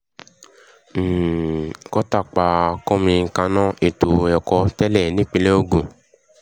um kọ́ńtà pa kọ́míkànnà ètò ẹ̀kọ́ tẹ́lẹ̀ nípínlẹ̀ ogun um